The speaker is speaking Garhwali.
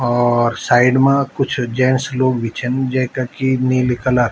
और साइड मा कुछ जेंट्स लोग भी छन जैका की नीली कलर --